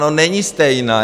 No není stejná!